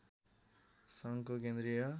सङ्घको केन्द्रीय